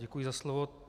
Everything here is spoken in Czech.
Děkuji za slovo.